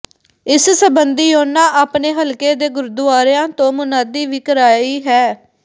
ਇਸ ਸਬੰਧੀ ਉਨ੍ਹਾਂ ਆਪਣੇ ਹਲਕੇ ਦੇ ਗੁਰਦੁਆਰਿਆਂ ਤੋਂ ਮੁਨਾਦੀ ਵੀ ਕਰਾਈ ਹੈ